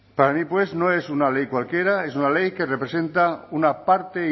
para mí pues no es una ley cualquiera es una ley que representa una parte